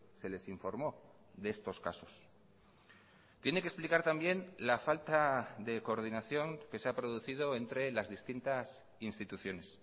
se les informó de estos casos tiene que explicar también la falta de coordinación que se ha producido entre las distintas instituciones